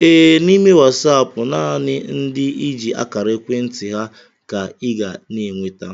Ee, n'ime Wasaapụ nanị ndị i ji akara ekwentị ha ka I ga n'enweta